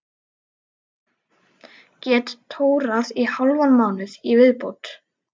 Get tórað í hálfan mánuð í viðbót.